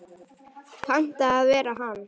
Panta að vera hann.